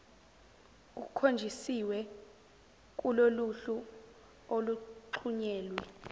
kukhonjisiwe kuloluhlu oluxhunyelwe